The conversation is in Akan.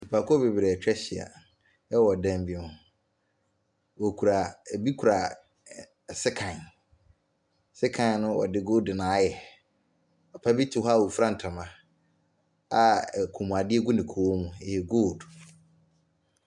Nnipa kuo bebree atwa ahyia ɛwɔ dan bi mu, ebi kura sekan, sekan no wɔde goldu na ayɛ. Papabi te hɔ a ɔfira ntoma a kɔnmu adeɛ gu ne kɔn mu, ɛyɛ gold.